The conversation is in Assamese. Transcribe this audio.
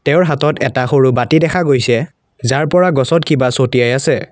তেওঁৰ হাতত এটা সৰু বাতি দেখা গৈছে যাৰ পৰা গছত কিবা চতিয়াই আছে।